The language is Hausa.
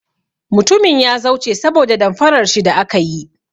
Mutumin ya zauce saboda damfarar shi da aka yi.